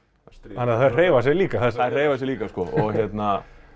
þannig að þær hreyfa sig líka þessar þær hreyfa sig líka